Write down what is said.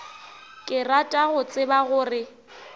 ke rata go tseba gore